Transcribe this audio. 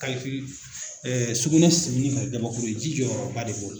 sugunɛ sigili ji jɔyɔrɔba de b'o la.